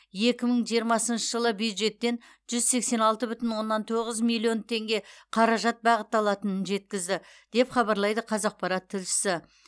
екі мың жиырмасыншы жылы бюджеттен жүз сексен алты бүтін оннан тоғыз миллион теңге қаражат бағытталатынын жеткізді деп хабарлайды қазақпарат тілшісі